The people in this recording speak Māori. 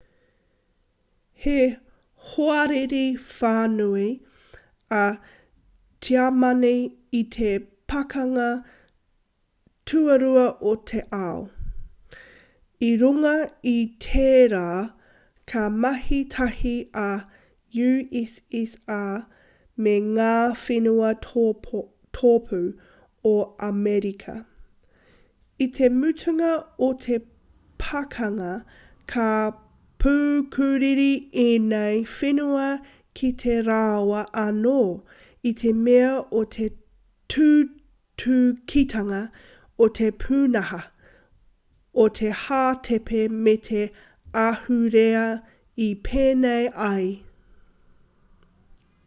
he hoariri whānui a tiamani i te pakanga tuarua o te ao i runga i tērā ka mahi tahi a ussr me ngā whenua tōpū o amerika i te mutunga o te pakanga ka pukuriri ēnei whenua ki a rāua anō i te mea o te tūtukitanga o te pūnaha o te hātepe me te ahurea i pēnei ai